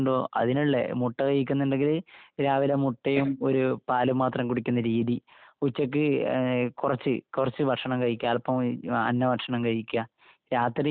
രാവിലെ മുട്ടയും ഒരു പാലും മാത്രം കുടിക്കുന്ന രീതി, ഉച്ചയ്ക്ക് കുറച്ചു കുറച്ചു ഭക്ഷണം കഴിക്കുക, അല്പം അന്നഭക്ഷണം കഴിക്കുക, രാത്രി മൃദുവായ രീതിയില് ഭക്ഷണം കഴിക്കുക...